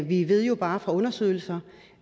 vi ved jo bare fra undersøgelser